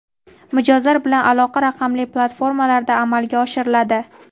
mijozlar bilan aloqa raqamli platformalarda amalga oshiriladi.